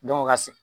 Dɔnku o ka se